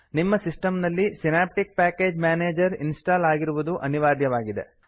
ನಿಮ್ಮ ಸಿಸ್ಟಮ್ ನಲ್ಲಿ Synaptic package manager install ಆಗಿರುವುದು ಅನಿವಾರ್ಯವಾಗಿದೆ